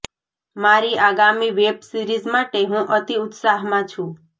મારી આગામી web series માટે હું અતિ ઉત્સાહમાં છું